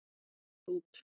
Ég datt út.